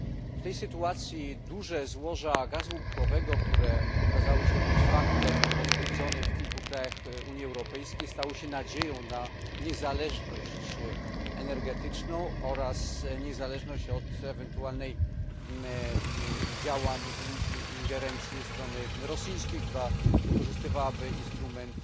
W tej sytuacji duże złoża gazu łupkowego, które okazały się być faktem potwierdzonym w kilku krajach Unii Europejskiej, budzą nadzieję na niezależność energetyczną oraz niezależność od ewentualnych działań i ingerencji ze strony rosyjskiej, która wykorzystywałaby instrument